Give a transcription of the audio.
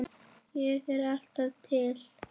Ég er alltaf til.